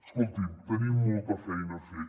escolti’m tenim molta feina a fer